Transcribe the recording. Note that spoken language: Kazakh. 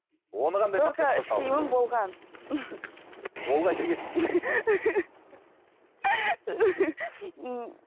ол қайда кетті